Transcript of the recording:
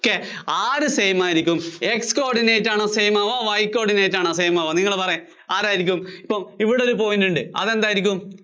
ok ആര് same ആയിരിയ്ക്കും? X coordinate ആണോ same ആവുക, Y coordinate ആണോ same ആവുക നിങ്ങള്‍ പറയ് ആരായിരിക്കും? എപ്പോ ഇവിടെ ഒരു point ഉണ്ട് അതെന്തായിരിക്കും?